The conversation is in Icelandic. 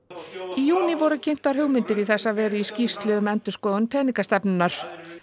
í júní voru kynntar hugmyndir í þessa veru í skýrslu um endurskoðun peningastefnunnar